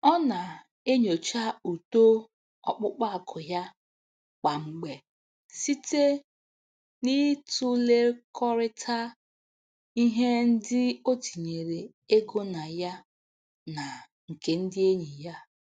Ọ na-enyocha uto ọkpụkpa akụ ya kwa mgbe site n'ịtụlekọrịta ihe ndị o tinyere ego na ya na nke ndị enyi ya.